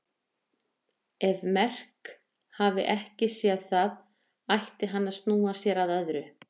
Ef Merk hafi ekki séð það ætti hann að snúa sér að öðru.